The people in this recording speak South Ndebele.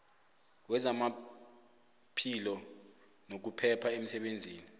wezamaphilo nokuphepha emsebenzini